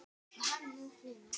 Þær sváfu í kojum.